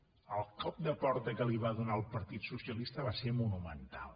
el cop de porta que li va donar el partit socialista va ser monumental